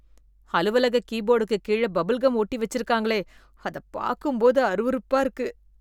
அலுவலகம் கீபோடுக்கு கீழ பபுள்கம் ஒட்டி வச்சிருக்காங்களே அதப் பாக்கும்போது அருவறுப்பா இருக்கு